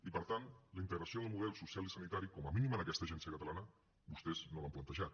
i per tant la integració del model social i sanitari com a mínim en aquesta agencia catalana vostès no l’han plantejat